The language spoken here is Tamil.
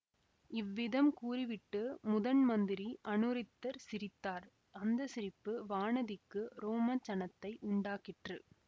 இவ்விதம் கூறிவிட்டு முதன் மந்திரி அநிருத்தர் சிரித்தார் அந்த சிரிப்பு வானதிக்கு ரோமஞ்சனத்தை உண்டாக்கிற்று